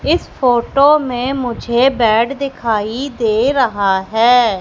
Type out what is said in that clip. इस फोटो में मुझे बैड दिखाई दे रहा है।